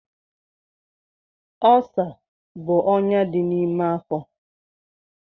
Ọlsa bụ ọnyá dị n'ime afọ.